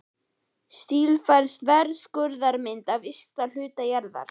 Stílfærð þverskurðarmynd af ysta hluta jarðar.